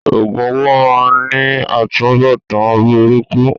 Òògùn owó máá ń ní atunbọ̀tán burúkú